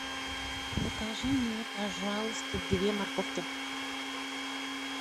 закажи мне пожалуйста две морковки